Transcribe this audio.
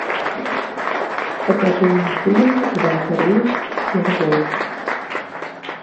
покажи мне фильм иван царевич и серый волк